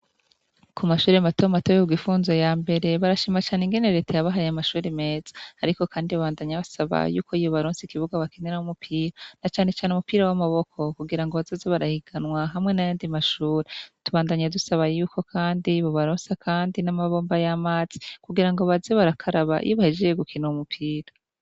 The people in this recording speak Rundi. Ku mashuri matomu atobe uku gifunzo ya mbere barashima cane ingeneretaya bahaye mashuri meza, ariko, kandi babandanya basabaye yuko yibo baronsi ikibuga bakenera mumupira na canecane umupira w'amaboko kugira ngo bazoze barahiganwa hamwe na yandi mashuri tubandanya dusabaye yuko, kandi bubaronsi, kandi n'amabomba y'amazi kugira ngo bazi barakaraba yibahe jiye gukina umupira.